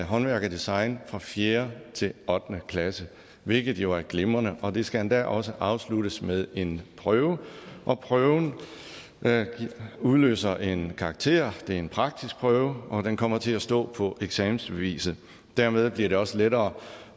håndværk og design fra fjerde til ottende klasse hvilket jo er glimrende og det skal endda også afsluttes med en prøve og prøven udløser en karakter det er en praktisk prøve og den kommer til at stå på eksamensbeviset dermed bliver det også lettere